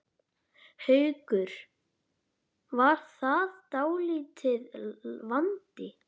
Haukur: Var það dálítill vandi?